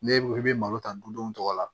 Ne i bɛ malo ta dudenw tɔgɔ la